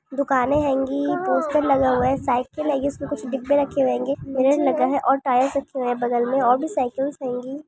दुकाने होंगी पोस्टर लगा हुआ हैं साइकिल होंगीउसमे कुछ डिब्बे रखे हैंगे मिरर लगा हैं और टायर रखे हुए हैबगल में और भी साइकिल्स हैंगी।